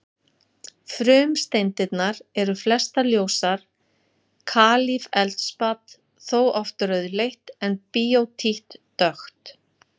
Frumsteindirnar eru flestar ljósar, kalífeldspat þó oft rauðleitt en bíótít dökkt.